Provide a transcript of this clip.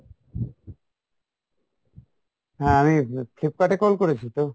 হ্যাঁ আমি Flipkart এ call করেছি তো?